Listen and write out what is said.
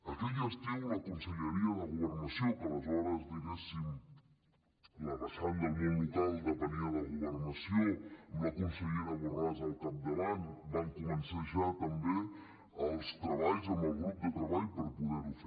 aquell estiu la conselleria de governació que aleshores diguéssim la vessant del món local depenia de governació amb la consellera borràs al capdavant va començar ja també els treballs amb el grup de treball per poder ho fer